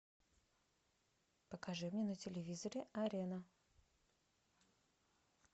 покажи мне на телевизоре арена